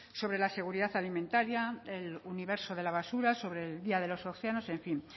sobre la seguridad alimentaria el universo de la basura sobre el día de los océanos en fin